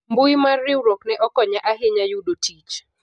mbui mar riwruok ne okonya ahinya yudo tich